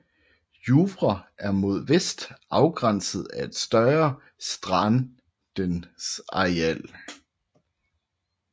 Juvre er mod vest afgrænset af et større strandengsareal